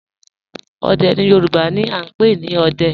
Òdè ni Yorùbá ni à n pẹ̀ ni "Òdẹ̀"